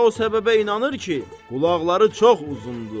O da o səbəbə inanır ki, qulaqları çox uzundur.